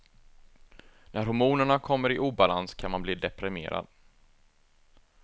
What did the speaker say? När hormonerna kommer i obalans kan man bli deprimerad.